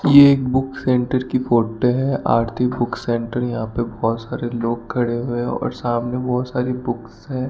ये एक book centre की फोटो है आरती बुक सेंटर यहां पे बहुत सारे लोग खड़े हुए और सामने बहुत सारी बुक्स है।